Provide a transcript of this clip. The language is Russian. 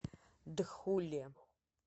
дхуле